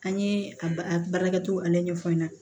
An ye a baarakɛcogo ale ɲɛfɔ n ɲɛna